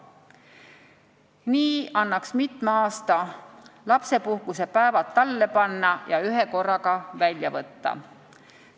Nii annaks mitme aasta lapsepuhkuse päevad tallele panna ja ühekorraga välja võtta.